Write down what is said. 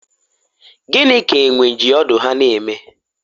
gịnị ka enwe ji ọdụ ha na-eme?